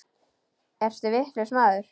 Ertu vitlaus maður?